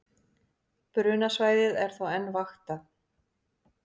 Brunasvæðið er þó enn vaktað